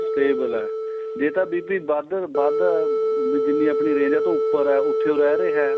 stable ਆ ਜੇ ਤਾਂ BP ਵੱਧ ਏ ਜਿੰਨੀ ਆਪਣੀ range ਏ ਉਹ ਤੋ ਉੱਪਰ ਏ ਉੱਥੇ ਹੀ ਰਹੇ ਰਿਹਾ